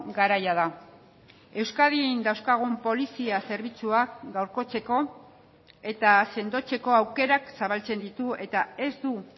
garaia da euskadin dauzkagun polizia zerbitzuak gaurkotzeko eta sendotzeko aukerak zabaltzen ditu eta ez du